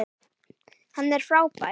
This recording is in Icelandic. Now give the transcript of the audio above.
Hann er frábær.